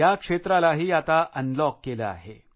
या क्षेत्रालाही आता अनलॉक केलं आहे